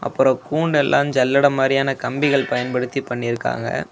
அப்ரோ கூண்டு எல்லாம் ஜல்லடை மாரியான கம்பிகள் பயன்படுத்தி பண்ணியிருக்காங்க.